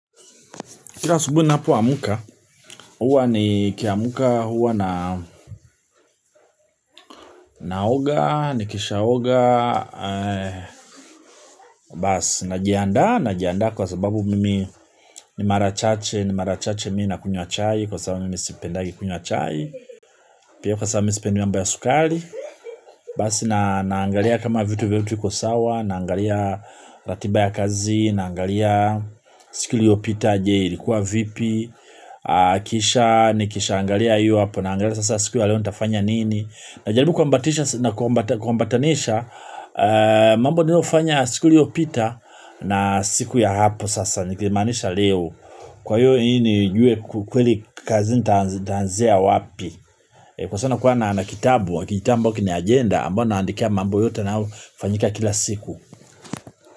Kila asubui ninapoamka, huwa nikiamka huwa na naoga, nikishaoga, basi najiandaa, najiandaa kwa sababu mimi ni mara chache, ni mara chache mii nakunywa chai kwa sababu mimi sipendagi kunywa chai, pia kwa sababu mimi sipendi mambo ya sukali, basi naangalia kama vitu vyote viko sawa, naangalia ratiba ya kazi, naangalia siku ilitopita, je, ilikuwa vipi, kisha nikishaangalia hiyo hapo naangalia sasa siku ya leo nitafanya nini. Najalibu kuambatanisha mambo niliofanya siku iliyopita na siku ya hapo sasa nikilimaanisha leo. Kwa hiyo ili nijue kweli kazini nitaanzia wapi. Kwa sabu nakua na na kitabu kijitabu ambao kina agenda ambao naandikia mambo yote na hufanyika kila siku.